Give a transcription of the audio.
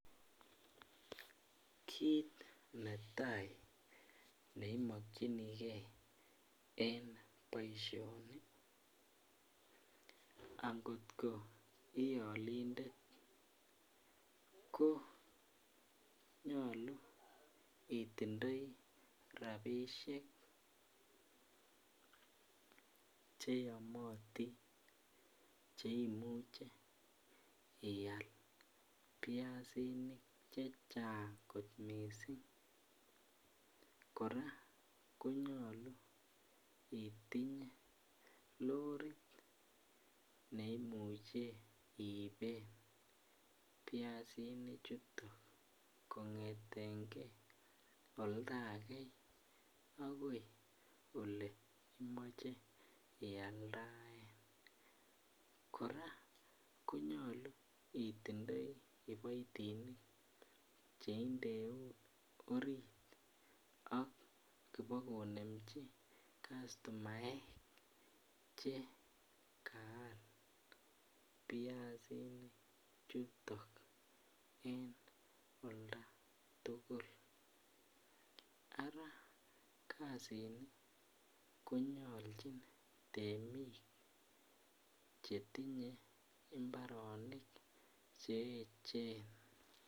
Kit netai ne imokyinigen eng boisioni angot ko iolindet konyolu itindoi rabisiek cheyomotin che imuche ial biasinik chechang kot mising korak konyolu itinye lorit neimuch iiben biasinichuton kongetengen oldage agoi ole imoche ialdaen korak konyolu intindoi kiboitinik che indeun orit ak kibokonemji kastomaek che kaal biasinichuton eng oldagetugul ara kasini konyolchin temik chemi chetinye imbaronik che echen .